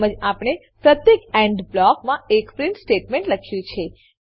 તેમજ આપણે પ્રત્યેક એન્ડ બ્લોકમાં એક પ્રીંટ સ્ટેટમેંટ લખ્યું છે